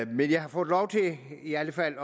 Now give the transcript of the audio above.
men jeg har fået lov til i alt fald